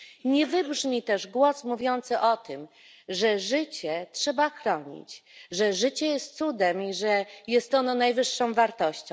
Nie wybrzmi też głos mówiący o tym, że życie trzeba chronić, że życie jest cudem i że jest ono najwyższą wartością.